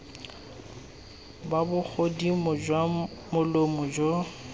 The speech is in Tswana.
ga bogodimo jwa molomo jo